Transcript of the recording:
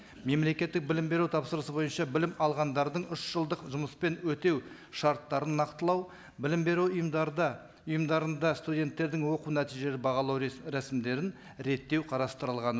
мемлекеттік білім беру тапсырысы бойынша білім алғандардың үш жылдық жұмыспен өтеу шарттарын нақтылау білім беру ұйымдарда ұйымдарында студенттердің оқу нәтижелері бағалау рәсімдерін реттеу қарастырылған